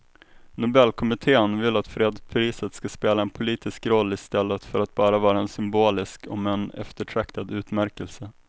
Nobelkommittén vill att fredspriset ska spela en politisk roll i stället för att bara vara en symbolisk om än eftertraktad utmärkelse.